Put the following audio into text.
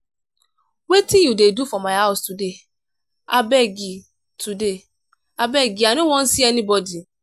wetin you dey do for my house today? abeg i today? abeg i no wan see anybody.